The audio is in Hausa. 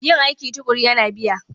Yin aiki tuƙuru yana biya.